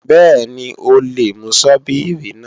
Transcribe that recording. Bẹ́ẹ̀ni, o lè mú Sọ́bíìrì náà